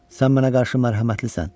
Sən mənə qarşı mərhəmətlisən.